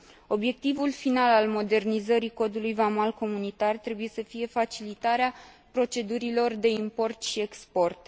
Obiectivul final al modernizării Codului vamal comunitar trebuie să fie facilitarea procedurilor de import și export.